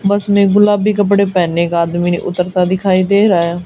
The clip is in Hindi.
बस में गुलाबी कपड़े पहने एक आदमी उतरता दिखाई दे रहा है।